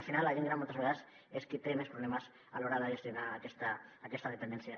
al final la gent gran moltes vegades és qui té més problemes a l’hora de gestionar aquesta dependència